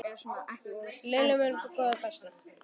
Lilli minn, góði besti.